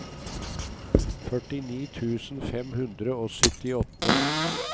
førtini tusen fem hundre og syttiåtte